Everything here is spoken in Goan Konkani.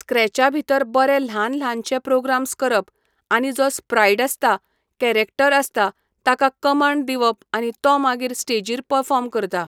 स्क्रॅचा भितर बरे ल्हान ल्हानशे प्रोग्राम्स करप आनी जो स्प्रायड आसता कॅरेक्टर आसता ताका कंमाड दिवप आनी तो मागीर स्टेजीर पर्फोर्म करता.